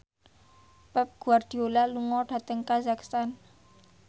Pep Guardiola lunga dhateng kazakhstan